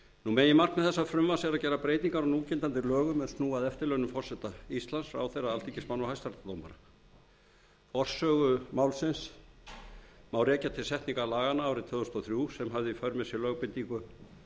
meginmarkmið þessa frumvarps er að gera breytingar á núgildandi lögum er snúa að eftirlaunum forseta íslands ráðherra alþingismanna og hæstaréttardómara forsögu málsins má rekja til setningar laganna árið tvö þúsund og þrjú sem hafði í för með sér lögbindingu